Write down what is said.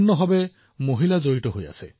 দেশৰ প্ৰতিগৰাকী মহিলাই ইয়াৰ বাবে গৌৰৱান্বিত হব